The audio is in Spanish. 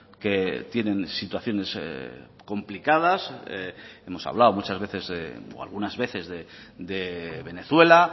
que tienen situaciones complicadas hemos hablado muchas veces o algunas veces de venezuela